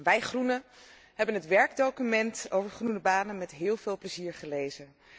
Wij Groenen hebben het werkdocument over groene banen met heel veel plezier gelezen.